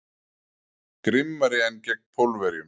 Grimmari en gegn Pólverjum.